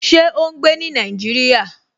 Ṣé ó n gbé ní Nàìjíríyà?